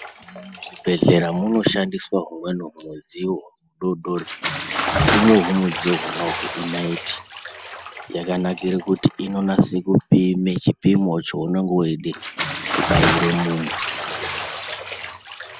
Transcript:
Muzvibhedhlera munoshandiswa humweni humudziyo hudodori umu humudziyo hunuhu inaiti, yakanakira kuti inonase kupime chipimo chaunenge uchida kubaire muntu.